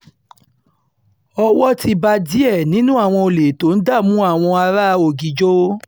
owó ti bá díẹ̀ nínú àwọn olè tó ń dààmú àwọn ará ọ̀gíjọ́